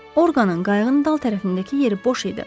Orqanın qayığın dal tərəfindəki yeri boş idi.